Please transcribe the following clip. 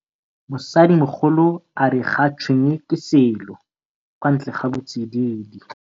Mosadi mogolo a re ga tshwenye ke selo kwantle ga botsididi.